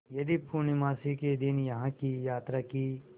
यदि पूर्णमासी के दिन यहाँ की यात्रा की